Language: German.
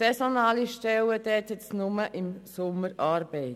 Es sind saisonale Stellen, das heisst, es gibt nur im Sommer Arbeit.